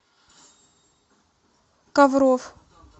ковров